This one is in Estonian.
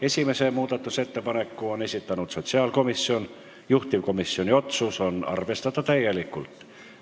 Esimese muudatusettepaneku on esitanud sotsiaalkomisjon, juhtivkomisjoni otsus: arvestada täielikult.